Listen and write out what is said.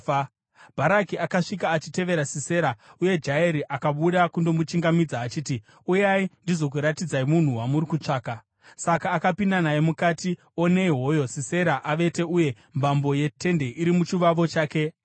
Bharaki akasvika achitevera Sisera, uye Jaeri akabuda kundomuchingamidza, achiti, “Uyai, ndizokuratidzai munhu wamuri kutsvaka.” Saka akapinda naye mukati, onei hoyo Sisera avete uye mbambo yetende iri muchavovo chake, afa.